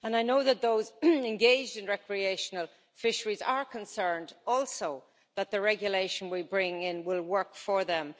I know that those engaged in recreational fisheries are concerned also that the regulation we bring in will work for them.